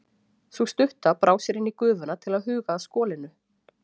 Sú stutta brá sér inn í gufuna til að huga að skolinu.